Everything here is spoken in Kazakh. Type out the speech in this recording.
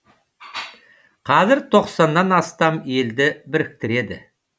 қазір тоқсаннан астам елді біріктіреді